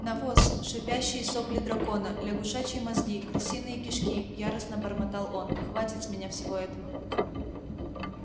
навоз шипящие сопли дракона лягушачьи мозги крысиные кишки яростно бормотал он хватит с меня всего этого